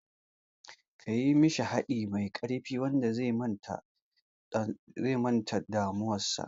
Kayi mishi haɗi mai ƙarfi wanda zai manta da damuwar sa